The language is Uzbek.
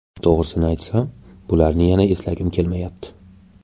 To‘g‘risini aytsam bularni yana eslagim kelmayapti.